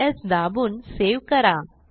Ctrl स् दाबून save करा